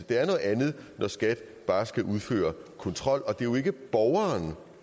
det er noget andet når skat bare skal udføre en kontrol og det er jo ikke borgeren